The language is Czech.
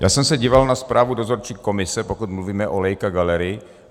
Já jsem se díval na zprávu dozorčí komise, pokud mluvíme o Leica Gallery.